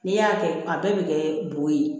N'i y'a kɛ a bɛɛ bɛ kɛ bo ye